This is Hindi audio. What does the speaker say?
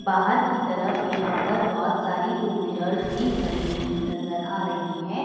बाहर की तरफ यहां पर बहोत सारी टू व्हीलर्स भी खड़ी हुई नजर आ रही है।